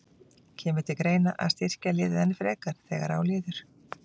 Kemur til greina að styrkja liðið enn frekar þegar á líður?